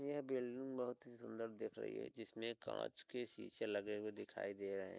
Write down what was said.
यह बिल्डिंग बहोत ही सुंदर दिख रही है जिसमे कांच के शीशे लगे हुऐ दिखाई दे रहे हैं।